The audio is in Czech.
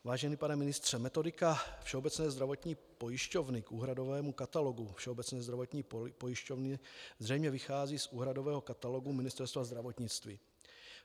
Vážený pane ministře, metodika Všeobecné zdravotní pojišťovny k úhradovému katalogu Všeobecné zdravotní pojišťovny zřejmě vychází z úhradového katalogu Ministerstva zdravotnictví.